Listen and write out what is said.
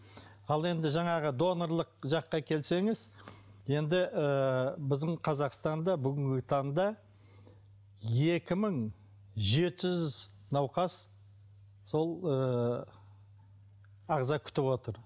ал енді жаңағы донорлық жаққа келсеңіз енді ыыы біздің қазақстанда бүгінгі таңда екі мың жеті жүз науқас сол ыыы ағза күтіп отыр